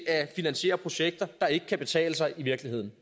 at finansiere projekter der ikke kan betale sig i virkeligheden